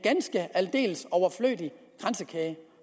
aldeles overflødig kransekage